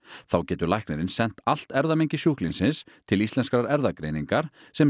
þá getur læknirinn sent allt erfðamengi sjúklingsins til Íslenskrar erfðagreiningar sem